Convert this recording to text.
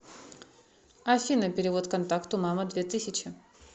афина перевод контакту мама две тысячи